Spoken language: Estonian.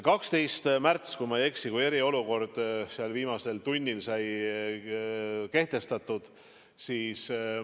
12. märtsil, kui ma ei eksi, sai eriolukord viimasel tunnil kehtestatud.